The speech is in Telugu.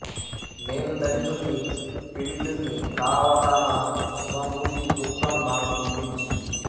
నేను దళితుణ్ణి పీడితుణ్ణి కావటాన శుభమూర్తి దుఃఖం నాకు వినిపించింది